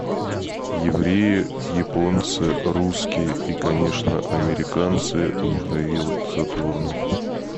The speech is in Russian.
евреи японцы русские и конечно американцы михаил задорнов